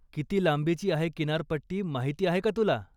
किती लांबींची आहे किनारपट्टी माहिती आहे का तुला?